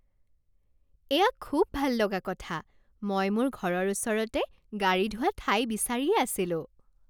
এয়া খুব ভাল লগা কথা! মই মোৰ ঘৰৰ ওচৰতে গাড়ী ধোৱা ঠাই বিচাৰিয়েই আছিলোঁ।